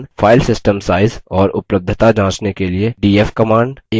file system size और उपलब्धता जाँचने के लिए df command